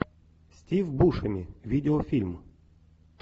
стив бушеми видеофильм